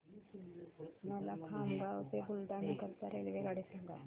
मला खामगाव ते बुलढाणा करीता रेल्वेगाडी सांगा